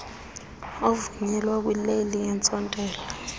ovunyelwa kwileli yentsontela